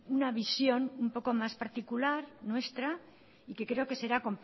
una visión un poco más particular nuestra y que creo que será